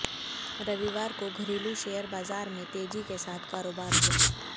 रविवार को घरेलू शेयर बाजार में तेजी के साथ कारोबार हुआ